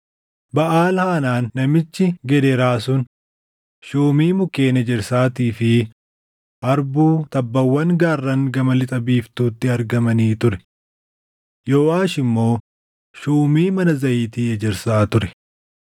Baʼaal-Haanaan namichi Gedeeraa sun shuumii mukkeen ejersaatii fi harbuu tabbawwan gaarran gama lixa biiftuutti argamanii ture. Yooʼaash immoo shuumii mana zayitii ejersaa ture.